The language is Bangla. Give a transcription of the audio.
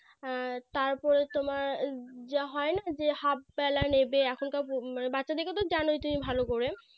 হ্যাঁ তারপরে তোমার যা হয় না যে Half বেলা নেবে এখানকা মানে বাচ্চাদেরকে তো জানোই তুমি ভালো করে